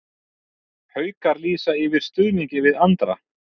Haukar lýsa yfir stuðningi við Andra